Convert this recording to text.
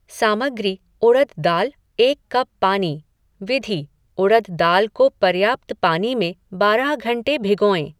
सामग्री उड़द दाल, एक कप पानी। विधि उड़द दाल को पर्याप्त पानी में बारह घंटे भिगोएँ।